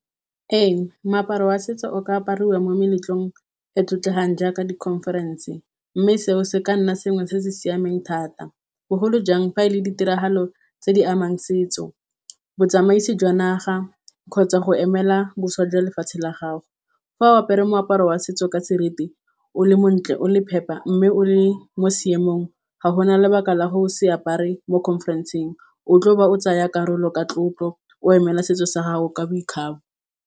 Ee moaparo wa setso o ka apariwa mo meletlong e e tlotlegang jaaka di conference. Mme seo se ka nna sengwe se se siameng thata. Bogolo jang fa e le ditiragalo tse di amang setso. Botsamaisi jwa naga kgotsa go emela boswa jwa lefatshe la gago. Fa o apere moaparo wa setso ka seriti, o le montle, o le phepa mme o le mo seemong ga gona lebaka la gore o se apare mo conference-eng. O tlo ba o tsaya karolo ka tlotlo o emela setso sa gago ka boikgabo.